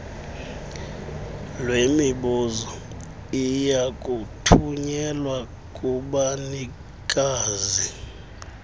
lwemibuzo liyakuthunyelwa kubanikazi